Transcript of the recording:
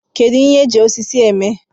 Kedu ihe eji osisi eme